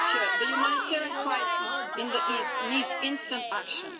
The humanitarian crisis in the East needs instant action.